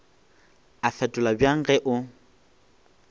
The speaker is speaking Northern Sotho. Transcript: a fetola bjang ge o